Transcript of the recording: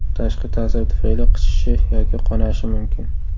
Tashqi ta’sir tufayli qichishi yoki qonashi mumkin.